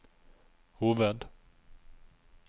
hoved